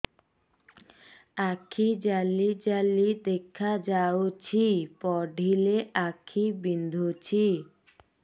ଆଖି ଜାଲି ଜାଲି ଦେଖାଯାଉଛି ପଢିଲେ ଆଖି ବିନ୍ଧୁଛି